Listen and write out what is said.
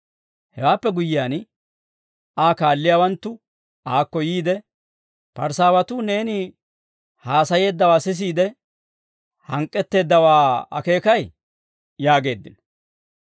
Hewaappe guyyiyaan, Aa kaalliyaawanttu aakko yiide, «Parisaawatuu neeni haasayeeddawaa sisiide, hank'k'etteeddawaa akeekay?» yaageeddino.